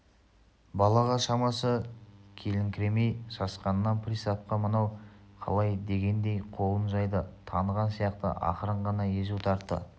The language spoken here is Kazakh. балаға шамасы келіңкіремей сасқанынан приставқа мынау қалай дегендей қолын жайды таныған сияқты ақырын ғана езу тартты